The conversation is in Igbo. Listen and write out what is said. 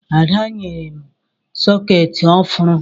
Ada nyere m sọkeetị ọhụrụ